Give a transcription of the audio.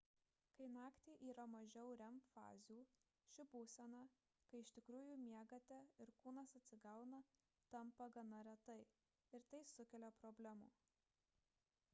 kai naktį yra mažiau rem fazių ši būsena kai iš tikrųjų miegate ir kūnas atsigauna tampa gana reta ir tai sukelia problemų